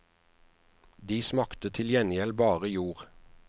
De smakte til gjengjeld bare jord.